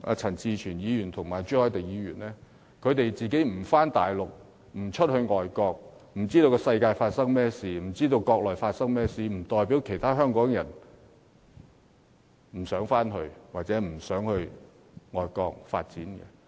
陳志全議員和朱凱廸議員不往國內或海外跑，不知道外面的世界和國內正在發生甚麼事情，並不代表其他香港人不想回國內或前往海外發展。